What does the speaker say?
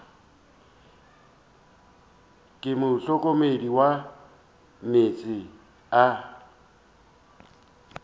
ke mohlokomedi wa meetse a